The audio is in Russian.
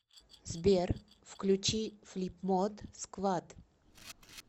сбер включи флипмод сквад